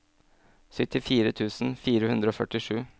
syttifire tusen fire hundre og førtisju